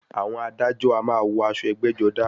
Àwọn adájọ a máa wọ aṣọ ẹgbẹ́-jọdá.